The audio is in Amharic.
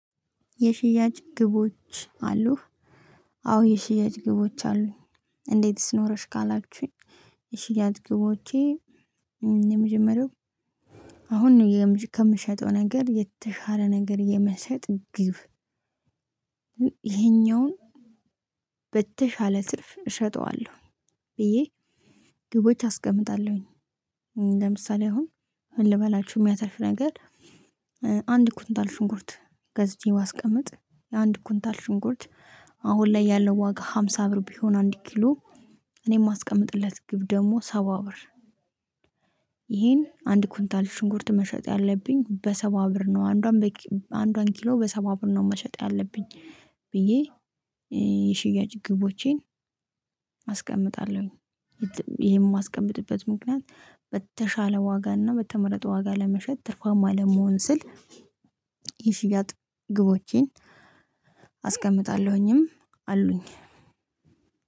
የሽያጭ ግቦች አሉህ? አዎ የሽያጭ ግቦች አሉ። እንዴትስ ኖረሽ ካላችሁኝ? የሺያጭ ግቦቼ የመጀመሪያው አሁን ነው ከምሸጠው ነገር የተሻለ ነገር የመሸጥ ግብ። ይሄኛውን በተሻለ ትርፍ እሸጠዋለሁ ብዬ ግቦች አስቀምጣለሁኝ። ለምሳሌ አሁን ምንልበላችሁ የሚያተርፍ ነገር። አንድ ኩንታል ሽንኩርት ገዝቼ ባስቀምጥ የአንድ ኩንታል ሽንኩርት አሁን ላይ ያለው ዋጋ ሃምሳ ብር ቢሆን አንድ ኪሎ እኔ የማስቀምጥለት ግብ ደግሞ ሰባ ብር። ይሄን አንድ ኩንታል ሽንኩርት መሸጥ ያለብኝ በሰባ ብር ነው አንዷን በቂ አንዷን ኪሎ በሰባ ብር ነው መሸጥ ያለብኝ። ብዬ የሽያጭ ግቦቼን አስቀምጣለሁኝ። ይሄን የማስቀምጥበት ምክንያት በተሻለ ዋጋና በተመረጠ ዋጋ ለመሸጥ ትርፋማ ለመሆን ስል። ይህ ሽያጥ ግቦችን አስቀምጣለሁኝም አሉኝ።